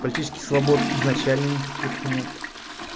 политических свобод изначально никаких нет